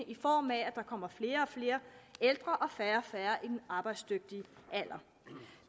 i form af at der kommer flere og flere ældre og færre og færre i den arbejdsdygtige alder